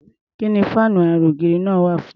Kí ni fáànú ara-ògiri náà wà fún?